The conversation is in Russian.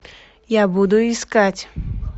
я буду искать